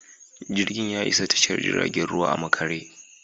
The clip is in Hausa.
Jirgin ya isa tashar jiragen ruwa a makare.